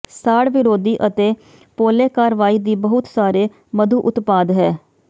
ਸਾੜ ਵਿਰੋਧੀ ਅਤੇ ਪੋਲੇ ਕਾਰਵਾਈ ਦੀ ਬਹੁਤ ਸਾਰੇ ਮਧੂ ਉਤਪਾਦ ਹੈ